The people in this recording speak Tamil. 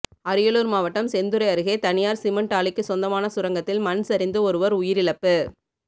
அரியலூர் மாவட்டம் செந்துறை அருகே தனியார் சிமெண்ட் ஆலைக்கு சொந்தமான சுரங்கத்தில் மண் சரிந்து ஒருவர் உயிரிழப்பு